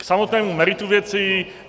K samotnému meritu věci.